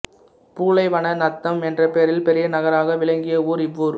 பூளைவன நத்தம் என்ற பெயரில் பெரிய நகராக விளங்கிய ஊர் இவ்வூர்